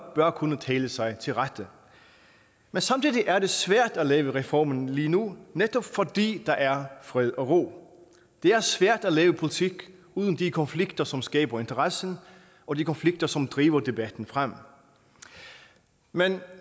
bør kunne tale sig til rette men samtidig er det svært at lave reformen lige nu netop fordi der er fred og ro det er svært at lave politik uden de konflikter som skaber interessen og de konflikter som driver debatten frem men